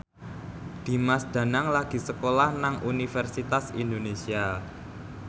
Dimas Danang lagi sekolah nang Universitas Indonesia